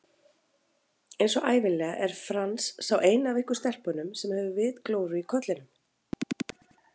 Einsog ævinlega er Franz sá eini af ykkur stelpunum sem hefur vitglóru í kollinum